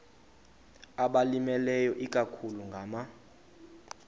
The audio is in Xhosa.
abalimileyo ikakhulu ngama